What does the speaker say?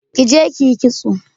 Ki je ki yi kitso!